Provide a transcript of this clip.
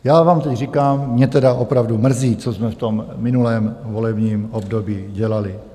Já vám teď říkám, mě tedy opravdu mrzí, co jsme v tom minulém volebním období dělali.